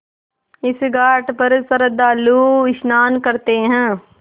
इस घाट पर श्रद्धालु स्नान करते हैं